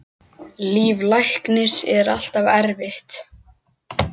Líf læknis er alltaf erfitt.